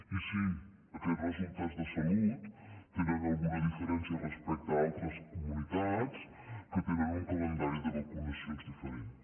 i si aquests resultats de salut tenen alguna diferència respecte a altres comunitats que tenen un calendari de vacunacions diferents